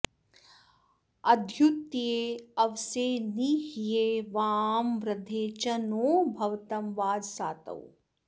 अ॒द्यू॒त्येऽव॑से॒ नि ह्व॑ये वां वृ॒धे च॑ नो भवतं॒ वाज॑सातौ